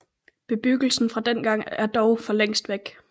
Bebyggelsen fra dengang er dog for længst væk